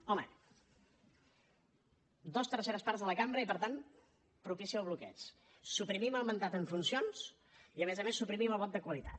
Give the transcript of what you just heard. home dues terceres parts de la cambra i per tant propicia el bloqueig suprimim el mandat en funcions i a més a més suprimim el vot de qualitat